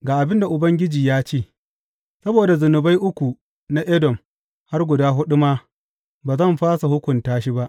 Ga abin da Ubangiji ya ce, Saboda zunubai uku na Edom, har guda huɗu ma, ba zan fasa hukunta shi ba.